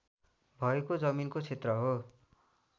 भएको जमिनको क्षेत्र हो